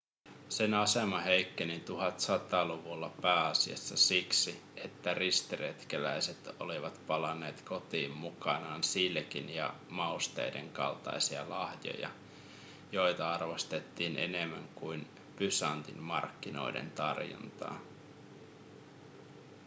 sen asema heikkeni 1100-luvulla pääasiassa siksi että ristiretkeläiset olivat palanneet kotiin mukanaan silkin ja mausteiden kaltaisia lahjoja joita arvostettiin enemmän kuin bysantin markkinoiden tarjontaa